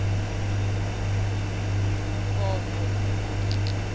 vondwe